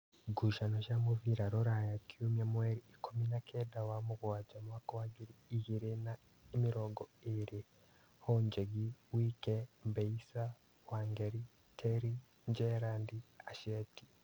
Ngucanio cia mũbira Rūraya Kiumia mweri ikũmi na-kenda wa mũgwanja mwaka wa ngiri igĩrĩ na mĩrongo ĩrĩ: Honjegi, Wike, Mbeisa, Wangeri, Teri, Njerandi, Aceti